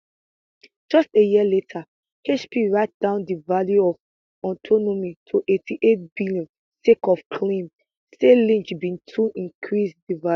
just a year later hp write down di value of autonomy to 88bn sake of claim say lynch bin too increase di value